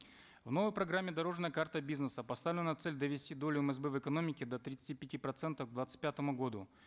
в новой программе дорожная карта бизнеса поставлена цель довести долю мсб в экономике до тридцати пяти процентов к двадцать пятому году